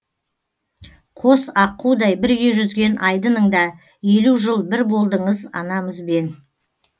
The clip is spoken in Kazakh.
қос аққудай бірге жүзген айдыныңда елу жыл бір болдыңыз анамызбен